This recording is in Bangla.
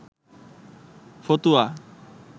ফতুয়া